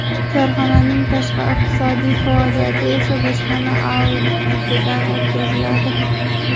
Korxonaning tashqi iqtisodiy faoliyati esa bojxona auditidan o‘tkaziladi.